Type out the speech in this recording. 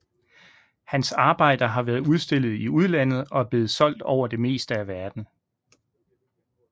Hans arbejder har været udstillet i udlandet og er blevet solgt over det meste af verden